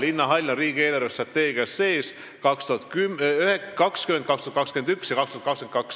Linnahall on riigi eelarvestrateegias sees aastatel 2020, 2021 ja 2022.